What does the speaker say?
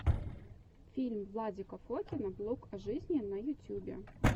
фильм владика фокина блог о жизни на ютьюбе